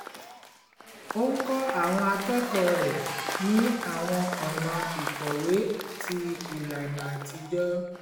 ó ń kọ́ àwọn akẹ́kọ̀ọ́ rẹ̀ ní àwọn ọ̀nà ìkọ̀wé tí ìlànà àtijọ́